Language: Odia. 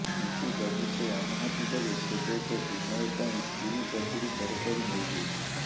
କିନ୍ତୁ ଯଦି ସେ ଅନୁମତି ଦେବେ ତେବେ ସେ ବିନୟ ପାଇଁ ପୁରୀ କଚୁଡ଼ି ତରକାରୀ ନେଇ ଯିବେ